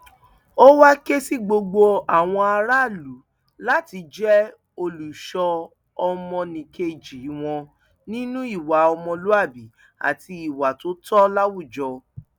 ó wàá ké sí gbogbo àwọn aráàlú láti jẹ olùṣọ ọmọnìkejì wọn nínú ìwà ọmọlúàbí àti ìwà tó tọ láwùjọ